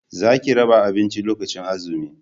za ki raba abinci lokacin azumi!